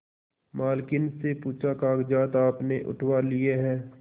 मालकिन से पूछाकागजात आपने उठवा लिए हैं